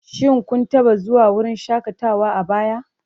Shin kun taba zuwa wurin shakatawa a baya?